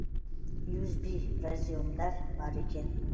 юзби разъемдар бар екен